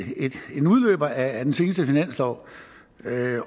en udløber af den seneste finanslov